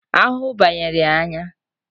Ahụhụ banyere ya anya